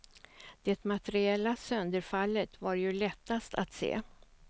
Det materiella sönderfallet var ju lättast att se.